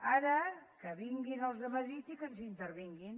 ara que vinguin els de madrid i que ens intervinguin